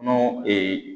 N'o